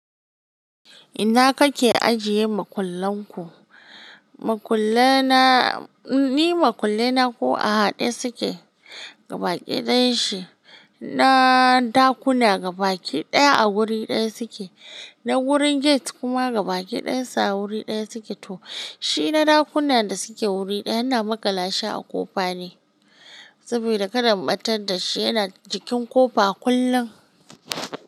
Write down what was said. Inna kake ajiye makullan ku? Makullai na, ni makullai na ko a haɗe suke gaba ɗayan shi. Na ɗakuna gabaki ɗaya a wuri ɗaya suke. Na wurin gate kuma gabaki ɗayan sa a wuri ɗaya suke. To shi na ɗakuna da suke wuri ɗaya ina makalashi a kofa ne. Saboda kada in ɓatar da shi yana jikin ƙofa kullum.